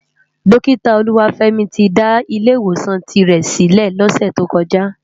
Dókitá Oluwafemi ti dá Ilè Iwósán tirè silè lòsè tókòjá